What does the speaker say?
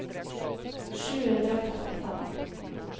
sju hundre og trettifem